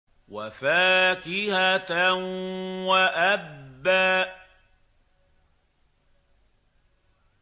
وَفَاكِهَةً وَأَبًّا